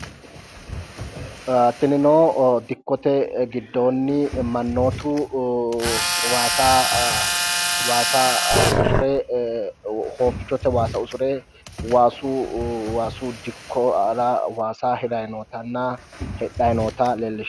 Tinino dikkote giddoonni mannootu waasa usure hoofichote waasa usure waasu dikkora waasa hirayi nootanna hidhayi noota Lee.